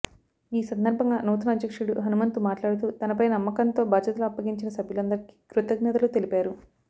ఈ సందర్భంగా నూతన అధ్యక్షుడు హనుమంతు మాట్లాడుతూ తనపై నమ్మకంతో బాధ్యతలు అప్పగించిన సభ్యులందరికీ కృతజ్ఞతలు తెలిపారు